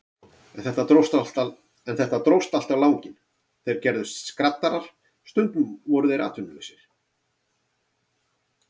En þetta dróst allt á langinn, þeir gerðust skraddarar, stundum voru þeir atvinnulausir.